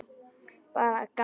Bara að gamni.